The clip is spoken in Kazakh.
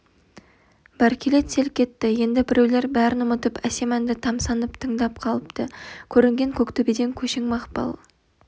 бәркелет селк етті енді біреулер бәрін ұмытып әсем әнді тамсанып тыңдап қалыпты көрінген көктөбеден көшің мақпал